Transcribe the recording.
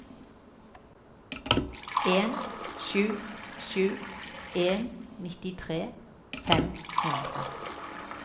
en sju sju en nittitre fem hundre